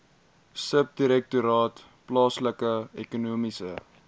subdirektoraat plaaslike ekonomiese